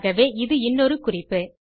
ஆகவே இது இன்னொரு குறிப்பு